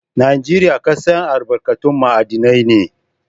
Najeriya ƙasar albarkatun ma'adinai ne.